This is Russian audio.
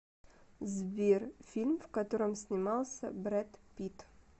сбер фильм в котором снимался брэд питт